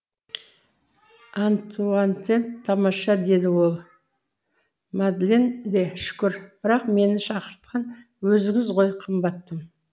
антуантетт тамаша деді ол мадлен де шүкір бірақ мені шақыртқан өзіңіз ғой қымбаттым